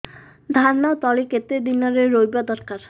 ଧାନ ତଳି କେତେ ଦିନରେ ରୋଈବା ଦରକାର